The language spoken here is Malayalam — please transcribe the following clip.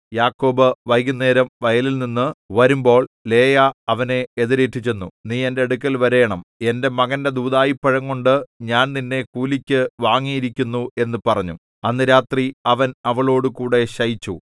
യാക്കോബ് വൈകുന്നേരം വയലിൽനിന്നു വരുമ്പോൾ ലേയാ അവനെ എതിരേറ്റു ചെന്നു നീ എന്റെ അടുക്കൽ വരേണം എന്റെ മകന്റെ ദൂദായിപ്പഴംകൊണ്ട് ഞാൻ നിന്നെ കൂലിക്ക് വാങ്ങിയിരിക്കുന്നു എന്നു പറഞ്ഞു അന്ന് രാത്രി അവൻ അവളോടുകൂടെ ശയിച്ചു